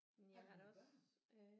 Har du nogle børn